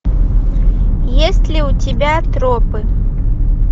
есть ли у тебя тропы